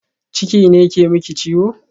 Ciki ne ke miki ciwo?